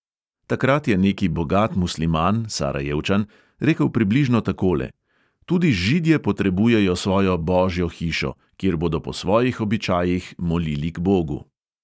Takrat je neki bogat musliman, sarajevčan, rekel približno takole: "tudi židje potrebujejo svojo "božjo" hišo, kjer bodo po svojih običajih molili k bogu."